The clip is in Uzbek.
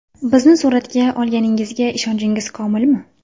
Bizni suratga olganingizga ishonchingiz komilmi?